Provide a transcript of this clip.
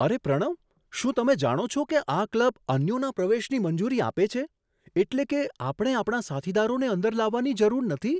અરે પ્રણવ, શું તમે જાણો છો કે આ ક્લબ અન્યોના પ્રવેશની મંજૂરી આપે છે? એટલે કે આપણે આપણા સાથીદારોને અંદર લાવવાની જરૂર નથી!